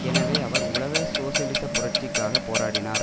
எனவே அவர் உலக சோசலிச புரட்சிக்காக போராடி னார்